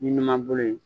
Ni ɲuman bolo ye